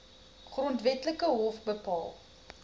grondwetlike hof bepaal